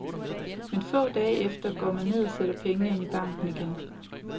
Men få dage efter går man ned og sætter pengene ind i banken igen.